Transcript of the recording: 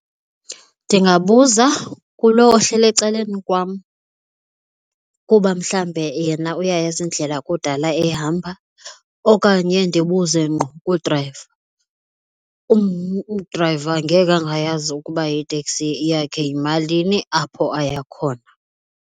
Ndingabuza kulo ohleli ecaleni kwam kuba mhlawumbe yena uyayazi indlela kudala eyihamba okanye ndibuze ngqo kudrayiva. Udrayiva ngeke angayazi ukuba iteksi yakhe yimalini apho aya khona.